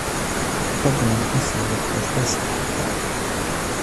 fadlan u sii wad podcast-ka xiga